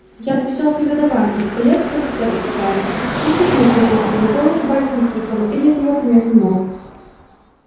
я отвечал с негодованием что я как офицер и дворянин ни в какую службу к пугачёву вступать и никаких поручений от него принять не мог